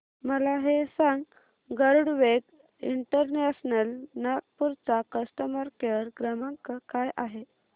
मला हे सांग गरुडवेग इंटरनॅशनल नागपूर चा कस्टमर केअर क्रमांक काय आहे